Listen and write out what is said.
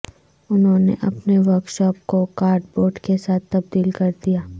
انہوں نے اپنے ورکشاپ کو کارڈ بورڈ کے ساتھ تبدیل کر دیا